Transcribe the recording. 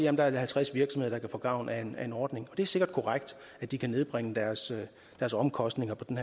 at der er halvtreds virksomheder der kan få gavn af en ordning det er sikkert korrekt at de kan nedbringe deres deres omkostninger på den